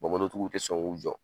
tigiw tɛ sɔn k'u jɔ.